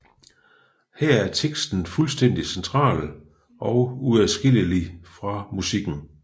Her er teksten fuldstændig central og uadskillelig fra musikken